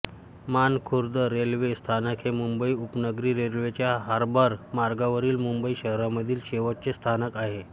Mankhurd railway स्थानक हे मुंबई उपनगरी रेल्वेच्या हार्बर मार्गावरील मुंबई शहरामधील शेवटचे स्थानक आहे